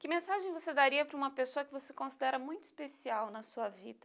Que mensagem você daria para uma pessoa que você considera muito especial na sua vida?